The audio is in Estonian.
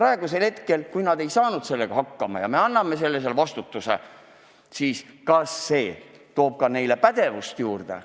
Aga kui Terviseamet ei ole praeguses olukorras hakkama saanud ja me anname neile sellise vastutuse juurde, siis kas see suurendab ka nende pädevust?